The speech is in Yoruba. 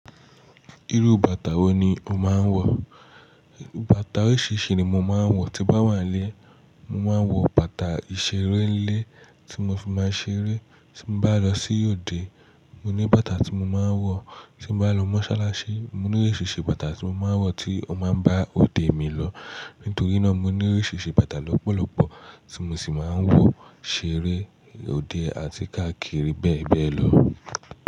Irú bàtà wo ni o máa ń wọ̀? Bàtà oríṣìíríṣìí ni mo máa ń wọ̀, tí bá wà lé, mo máa ń wọ bàtà ìṣeré lé tí mo fi máa ṣeré, tí mo bá lọ sí òde, mo ní bàtà tí mo máa ń wọ̀, tí mo bá lọ mọ́ṣáláṣí, mo ní oríṣiríṣi bàtà tí mo máa ń wọ̀ tí ó máa ń bá òde mi lọ. Nítorí náà mo ní oríṣiríṣi bàtà lọ́pọ̀lọpọ̀ tí mo sì máa ń wọ, ṣeré, òde àti káàkiri bẹ́ẹ̀ bẹ́ẹ̀ lọ.